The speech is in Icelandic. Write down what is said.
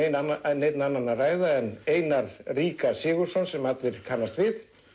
neinn annan að ræða en Einar ríka Sigurðsson sem allir kannast við